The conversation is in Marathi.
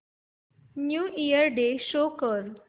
न्यू इयर डे शो कर